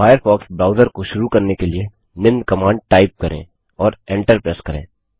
Firefox browser को शुरू करने के लिए निम्न कमांड टाइप करें और एन्टर प्रेस करें